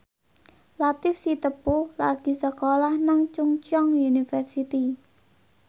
Latief Sitepu lagi sekolah nang Chungceong University